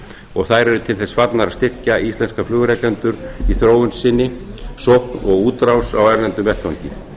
og þær eru til þess fallnar að styrkja íslenska flugrekendur í þróun sinni og útrás á erlendum vettvangi